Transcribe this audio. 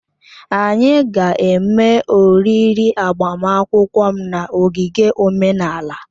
Anyị ga-eme oriri agbamakwụkwọ m na ogige omenala